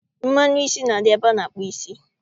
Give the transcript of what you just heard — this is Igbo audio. Mmanụ isi na-adị ebe a na-akpụ isi